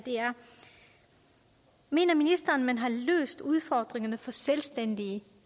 mener ministeren at man har løst udfordringerne for selvstændige